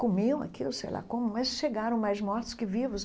Comiam aquilo, eu sei lá como, mas chegaram mais mortos que vivos.